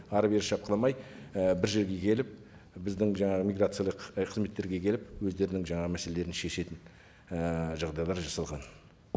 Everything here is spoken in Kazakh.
әрі бері шапқыламай і бір жерге келіп біздің жаңағы миграциялық ы қызметтерге келіп өздерінің жаңағы мәселелерін шешетін ііі жағдайлар жасалған